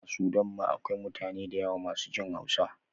A sudan ma akwai mutane dayawa masu jin hausa